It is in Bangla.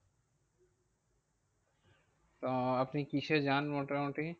তো আপনি কিসে যান মোটামুটি?